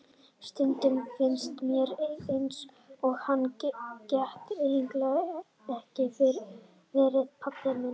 Stundum finnst mér eins og hann geti eiginlega ekki verið pabbi minn.